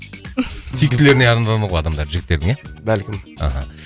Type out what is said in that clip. сүйіктілеріне жігіттердің ия бәлкім аха